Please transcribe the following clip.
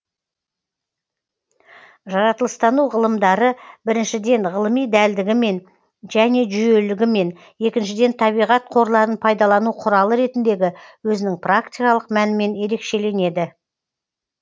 жаратылыстану ғылымдары біріншіден ғылыми дәлдігімен және жүйелілігімен екіншіден табиғат қорларын пайдалану құралы ретіндегі өзінің практикалық мәнімен ерекшеленеді